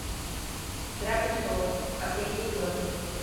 игра престолов последний сезон